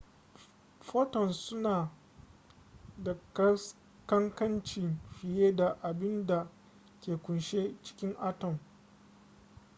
photons suna da kankanci fiye da abin da ke kunshe cikin atom